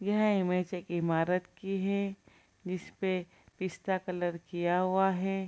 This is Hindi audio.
यह इमेज एक ईमारत की है जिस पे पिस्ता कलर किया हुआ है ।